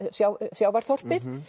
sjávarþorpið